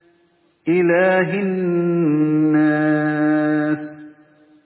إِلَٰهِ النَّاسِ